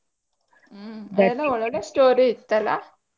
ಹ್ಮ್ ಅದ್ ಎಲ್ಲಾ ಒಳ್ ಒಳ್ಳೆ story ಇತ್ತಲ್ಲ.